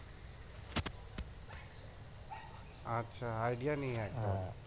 আচ্ছা নেই একদম